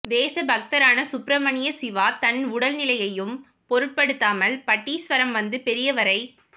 தேச பக்தரான சுப்பிரமணிய சிவா தன் உடல்நிலையையும் பொருட்படுத்தாமல் பட்டீஸ்வரம் வந்து பெரியவரைத்